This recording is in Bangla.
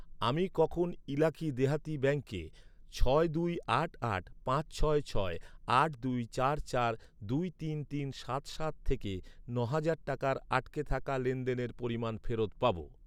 আমি কখন ইলাকি দেহাতি ব্যাঙ্কে ছয় দুই আট আট পাঁচ ছয় ছয় আট দুই চার চার দুই তিন তিন সাত সাত থেকে ন'হাজার টাকার আটকে থাকা লেনদেনের পরিমাণ ফেরত পাব?